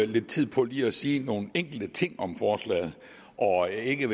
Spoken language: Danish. lidt tid på lige at sige nogle enkelte ting om forslaget og ikke